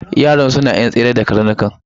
Yaran suna yar tsere da karnukan.